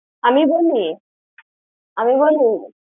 আমি বলি? আমি বলি?